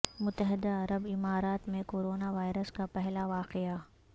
متحدہ عرب امارات میں کورونا وائرس کا پہلا واقعہ